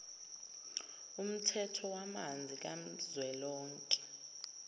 umthetho wamanzi kazwelonke